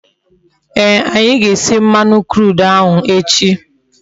Ee, anyi ga-esi mmanu crude ahu echi